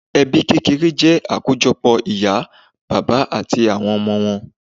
Ẹbí kékeré jẹ́ àkójọpọ̀ ìyá, bàbá àti àwọn ọmọ wọn